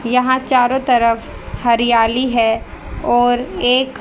यहां चारों तरफ हरियाली है और एक--